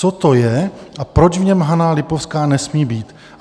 Co to je a proč v něm Hana Lipovská nesmí být?